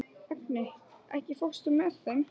Agni, ekki fórstu með þeim?